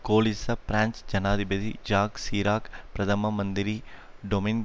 கோலிச பிராஞ்சு ஜனாதிபதி Jacques Chirac பிரதம மந்திரி டொமின்